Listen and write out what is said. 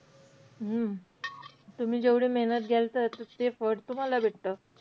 हम्म तुम्ही जेवढी मेहनत घ्याल, त्याच ते फळ तुम्हाला भेटतं.